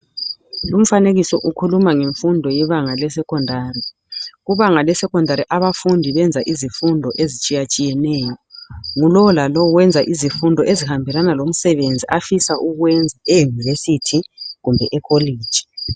Lumfanekiso ukhuluma ngemfundo yebanga leSecondary. Kubanga leSecondary abafundi benza izifundo ezitshiyatshineyo. Ngulowo lalowo wenza izifundo ezihambelana lomsebenzi afisa ukuwenza eUnirvesity kumbe eCollege.